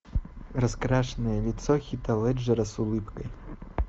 раскрашенное лицо хита леджера с улыбкой